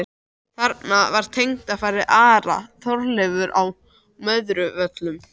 Þarna var tengdafaðir Ara, Þorleifur á Möðruvöllum.